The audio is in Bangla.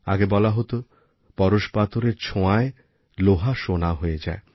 আগে বলা হত পরশপাথরের ছোঁয়ায় লোহা সোনা হয়ে যায়